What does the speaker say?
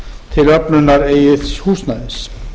til öflunar eigin húsnæðis